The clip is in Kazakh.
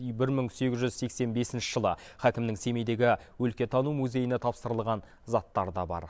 бір мың сегіз жүз сексен бесінші жылы хакімнің семейдегі өлкетану музейіне тапсырылған заттары да бар